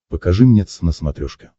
покажи мне твз на смотрешке